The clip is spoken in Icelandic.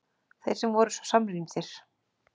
Þeir sem voru svo samrýndir!